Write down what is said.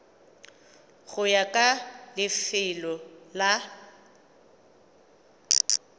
go ya ka lefelo la